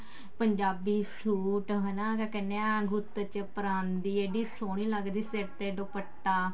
Punjabi suit ਹਨਾ ਕਿਆ ਕਹਿਨੇ ਆ ਗੁੱਤ ਚ ਪਰਾਂਦਾ ਇੱਡੀ ਸੋਹਣੀ ਲੱਗਦੀ ਸੀ ਸਿਰ ਤੇ ਦੁਪੱਟਾ